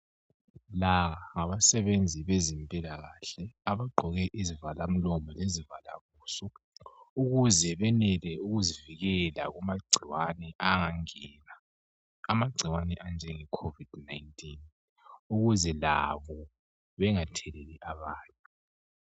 La ngabasebenzi bezimpila kahle abagqoke izivala umlomo lezivala buso ukuze benele ukuzivikela kumagcikwane angangena amagcikwane anjenge khovidi nayintini ukuze labo bengatheleli abanye .